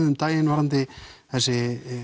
um daginn varðandi þessi